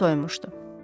Plov soyumuşdu.